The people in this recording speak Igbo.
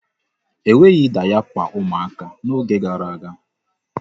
E nweghị dayapa ụmụaka n'oge gara aga.